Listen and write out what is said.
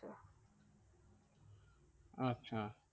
আচ্ছা